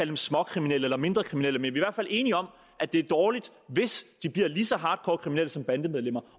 dem småkriminelle eller mindre kriminelle men vi hvert fald enige om at det er dårligt hvis de bliver lige så hardcore kriminelle som bandemedlemmer